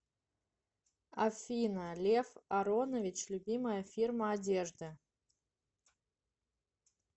афина лев аронович любимая фирма одежды